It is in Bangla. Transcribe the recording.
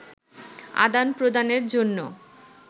আদান-প্রদানের জন্য